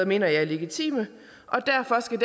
mener jeg er legitime og derfor skal